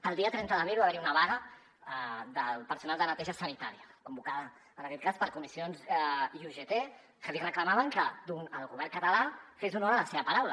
el dia trenta d’abril va haver hi una vaga del personal de neteja sanitària convocada en aquest cas per comissions i ugt que li reclamaven que el govern català fes honor a la seva paraula